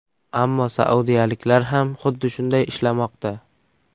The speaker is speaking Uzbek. Ammo saudiyaliklar ham xuddi shunday ishlamoqda.